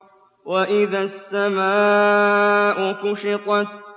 وَإِذَا السَّمَاءُ كُشِطَتْ